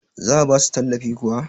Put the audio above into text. za a ba su tallafi kuwa?